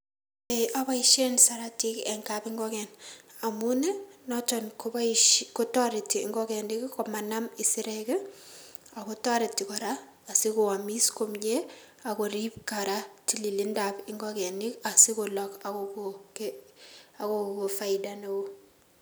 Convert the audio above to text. Ee oboisien saratik en kapingiken amun noton kotoreti ingokenik komanam isirek ak kotoreti asikoomis komie ak korib koraa tililindab ingokenik asikolok akokon faida neo.